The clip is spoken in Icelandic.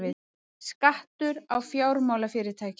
Skattur á fjármálafyrirtæki